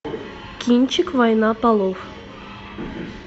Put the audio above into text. кинчик война полов